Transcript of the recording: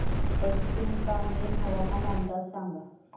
पश्चिम कामेंग हवामान अंदाज सांगा